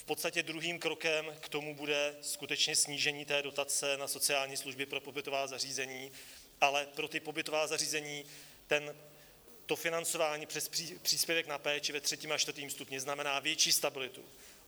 V podstatě druhým krokem k tomu bude skutečně snížení té dotace na sociální služby pro pobytová zařízení, ale pro ta pobytová zařízení to financování přes příspěvek na péči ve III. a IV. stupni znamená větší stabilitu.